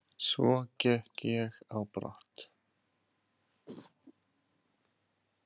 Svo gekk ég á brott.